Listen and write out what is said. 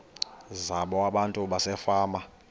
zabo abantu basefama